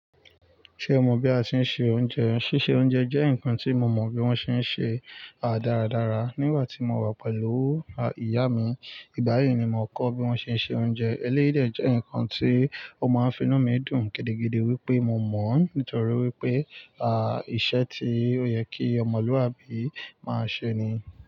Ṣé o mọ̀ bí a ṣe ń se oúnjẹ? Sísè oúnjẹ jẹ́ nǹkan tí mo mọ̀ bí wọ́n ṣe ń ṣe á dáradára nígbà tí mo wà pẹ̀lú ìyá mi. Ìgbàyí ni mo kọ́ bí wọ́n ṣe ń se oúnjẹ. Eléyìí dẹ̀ jẹ́ nǹkan tí ó máa ń fi inú mi dùn gidigidi wípé mo mọ̀ọ́ nítorí wípé, íṣẹ́ tí ó yẹ kí ọmọlúàbí máa ṣe ni.